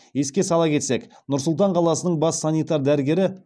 еске сала кетсек нұр сұлтан қаласының бас санитар дәрігері